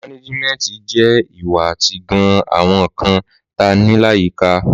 Mànéjímẹtí jẹ ìwá àtí gàn àwón kàn tà ní làyíkà.